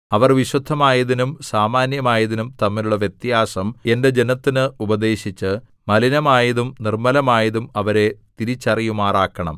അവർ വിശുദ്ധമായതിനും സാമാന്യമായതിനും തമ്മിലുള്ള വ്യത്യാസം എന്റെ ജനത്തിന് ഉപദേശിച്ച് മലിനമായതും നിർമ്മലമായതും അവരെ തിരിച്ചറിയുമാറാക്കണം